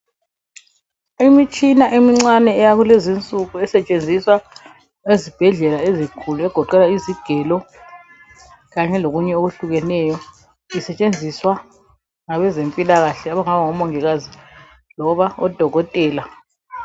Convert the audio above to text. Imitshina emincane yakulezinsuku esetshenziswa ezibhedlela ezinkulu egoqela izigelo kanye lokunye isetshenziswa ngomongikazi loba odokotela